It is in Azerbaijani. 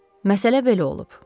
Məsələ belə olub.